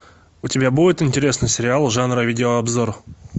у тебя будет интересный сериал жанра видеообзор